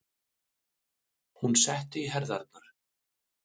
Hún setti í herðarnar.